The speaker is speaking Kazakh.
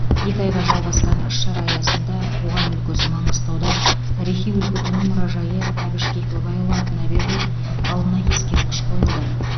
екі айға жалғасқан іс шара аясында туған өлкесі маңғыстауда тарихи өлкетану мұражайы әбіш кекілбайұлы атына беріліп алдына ескерткіш қойылды